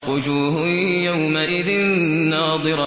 وُجُوهٌ يَوْمَئِذٍ نَّاضِرَةٌ